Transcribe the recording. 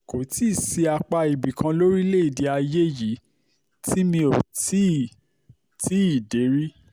kò tí ì sí apá ibì kan lórílẹ̀ ayé yìí tí mi ò tí ì tí ì dé rí